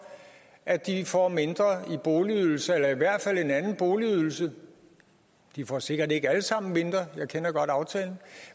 at de får mindre i boligydelse eller i hvert fald en anden boligydelse de får sikkert ikke alle sammen mindre jeg kender godt aftalen